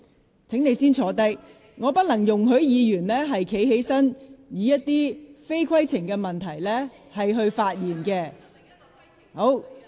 黃議員，請先坐下，我不能容許議員站起來，藉着提出不屬規程問題的事宜而發表言論。